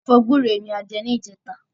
Ẹ̀fọ́ gbúre ni a jẹ ní ìjẹta